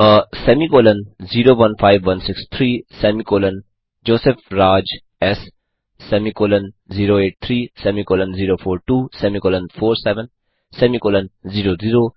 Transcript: uh semicolon 015163 semicolon Joseph Raj S semicolon 083 semicolon 042 semicolon 47 semicolon 00